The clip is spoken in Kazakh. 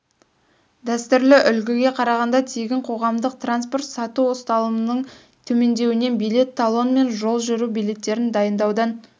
дәстүрлі үлгіге қарағанда тегін қоғамдық транспорт сату ұсталымының төмендеуінен билет талон мен жол жүру билеттерін дайындаудан